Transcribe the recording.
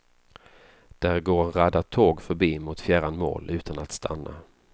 Där går en radda tåg förbi mot fjärran mål utan att stanna.